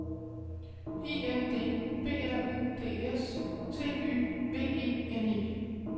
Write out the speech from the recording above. I N D B R U D S T Y V E N E